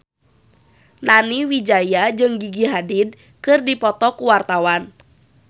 Nani Wijaya jeung Gigi Hadid keur dipoto ku wartawan